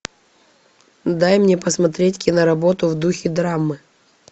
дай мне посмотреть киноработу в духе драмы